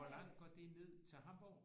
Hvor langt går det ned til Hamborg